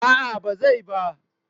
A'a ba zai ba.